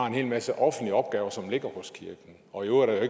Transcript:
en hel masse offentlige opgaver som ligger hos kirken og i øvrigt er